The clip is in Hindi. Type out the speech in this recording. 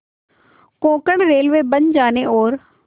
कोंकण रेलवे बन जाने और